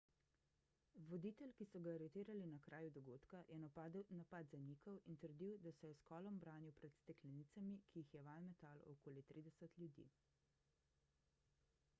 voditelj ki so ga aretirali na kraju dogodka je napad zanikal in trdil da se je s kolom branil pred steklenicami ki jih je vanj metalo okoli 30 ljudi